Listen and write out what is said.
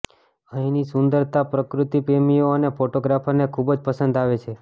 અહીંની સુંદરતા પ્રકૃતિ પ્રેમીઓ અને ફોટોગ્રાફરને ખૂબ જ પસંદ આવે છે